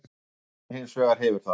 Katrín hins vegar hefur það.